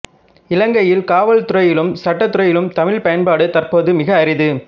இலங்கையில் காவல்துறையிலும் சட்டத்துறையிலும் தமிழ்ப் பயன்பாடு தற்போது மிக அரிது